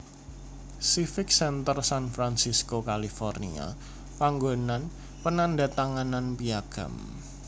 Civic Center San Francisco California panggonan penandhatanganan Piagam